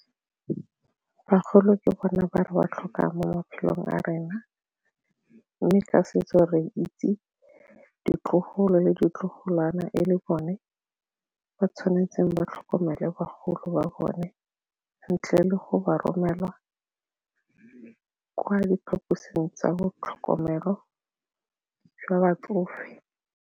Bagolo ke bona ba re ba tlhokang mo maphelong a rena mme ka setso re itse ditlogolo le ditlogolwana e le bone ba tshwanetseng ba tlhokomelo bagolo ba bone ntle le go ba romelwa kwa diphaposing tsa bo tlhokomelo jwa batsofe.